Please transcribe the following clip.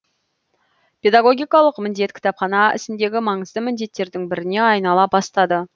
педагогикалық міндет кітапхана ісіндегі маңызды міндеттердің біріне айнала бастады